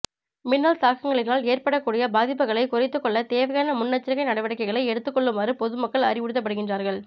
மின்னல் தாக்கங்களினால் ஏற்படக்கூடிய பாதிப்புகளை குறைத்துக் கொள்ள தேவையான முன்னெச்சரிக்கை நடவடிக்கைகளை எடுத்துக் கொள்ளுமாறு பொதுமக்கள் அறிவுறுத்தப்படுகின்றார்கள்